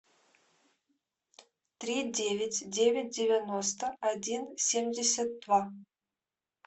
три девять девять девяносто один семьдесят два